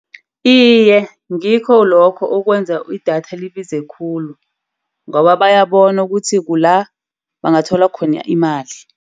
Iye ngikho lokho okwenza idatha libize khulu, ngoba bayabona ukuthi kula bangathola khona imali.